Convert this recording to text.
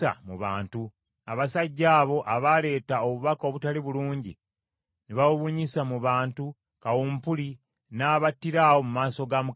abasajja abo abaaleeta obubaka obutaali bulungi ne babubunyisa mu bantu kawumpuli n’abattira awo mu maaso ga Mukama Katonda.